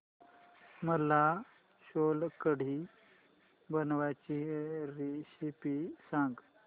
मला सोलकढी बनवायची रेसिपी सांग